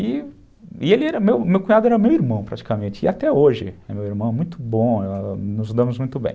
E ele era meu, meu cunhado era meu irmão praticamente, e até hoje é meu irmão, muito bom, ãh, nos damos muito bem.